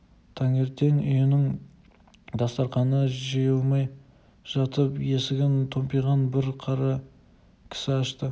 таңертең үйінің дастарқаны жиылмай жатып есігін томпиған бір қара кісі ашты